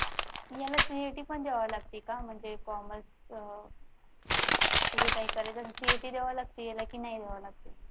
याला CET पण द्यावे लागते का म्हणजे commerce अह जे काय काय करायचं असलं कि CET द्यावी लागते कि नाही बवा लागते